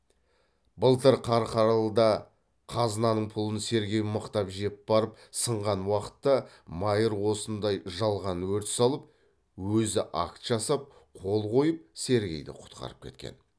былтыр қарқаралыда қазнаның пұлын сергей мықтап жеп барып сынған уақытта майыр осындай жалған өрт салып өзі акт жасап қол қойып сергейді құтқарып кеткен